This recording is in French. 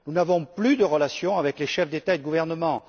Nous n'avons plus de relations avec les chefs d'État ou de gouvernement.